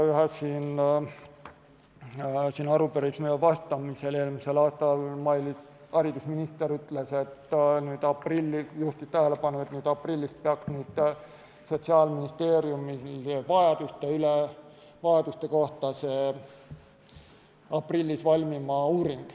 Ühele arupärimisele vastamisel eelmisel aastal haridusminister Mailis Reps juhtis tähelepanu, et aprillis peaks Sotsiaalministeeriumil valmima uuring vajaduste kohta.